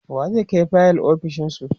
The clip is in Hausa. wa zai Kai fayil ofishinsu?